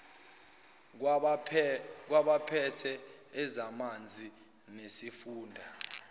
kwabaphethe ezamanzi nesifunda